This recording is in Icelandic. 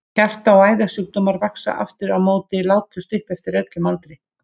Hjarta- og æðasjúkdómar vaxa aftur á móti látlaust upp eftir öllum aldri.